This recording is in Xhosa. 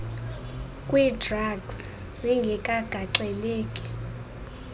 kwii drugs zingekagaxeleki